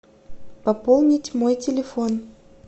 пополнить мой телефон